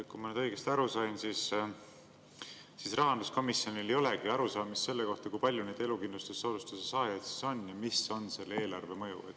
Kui ma nüüd õigesti aru sain, siis Rahanduskomisjonil ei olegi arusaamist, kui palju neid elukindlustussoodustuse saajaid on ja mis on selle eelarvemõju.